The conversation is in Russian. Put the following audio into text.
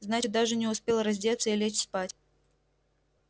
значит даже не успел раздеться и лечь спать